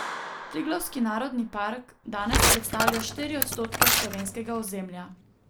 Triglavski narodni park danes predstavlja štiri odstotke slovenskega ozemlja.